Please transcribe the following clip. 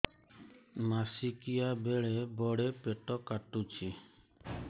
ମାସିକିଆ ବେଳେ ବଡେ ପେଟ କାଟୁଚି